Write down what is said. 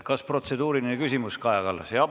Kas protseduuriline küsimus, Kaja Kallas?